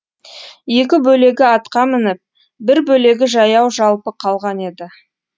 екі бөлегі атқа мініп бір бөлегі жаяу жалпы қалған еді